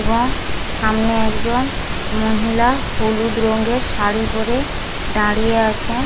এবং সামনে একজন মহিলা হলুদ রং এর শাড়ি পরে দাঁড়িয়ে আছে।